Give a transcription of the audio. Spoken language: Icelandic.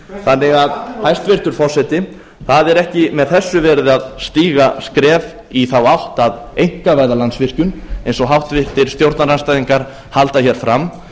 þannig að hæstvirtur forseti það er ekki með þessu verið að stíga skref í þá átt að einkavæða landsvirkjun eins og háttvirtur stjórnarandstæðingar halda hér fram